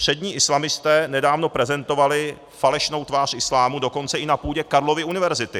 Přední islamisté nedávno prezentovali falešnou tvář islámu dokonce i na půdě Karlovy univerzity.